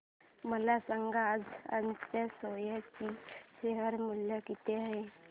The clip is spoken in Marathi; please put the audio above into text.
मला सांगा आज अजंता सोया चे शेअर मूल्य काय आहे